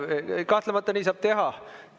Kahtlemata nii saab teha.